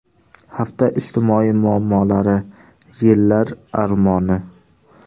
Hafta ijtimoiy muammolari: Yillar armoni.